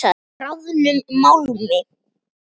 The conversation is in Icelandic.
Bráðnum málmi.